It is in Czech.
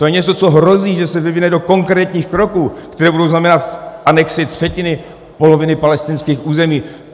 To je něco, co hrozí, že se vyvine do konkrétních kroků, které budou znamenat anexi třetiny, poloviny palestinských území.